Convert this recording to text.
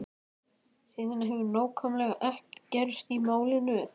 Síðan hefur nákvæmlega ekkert gerst í málinu.